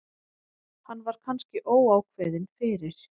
Hann var kannski óákveðinn fyrir.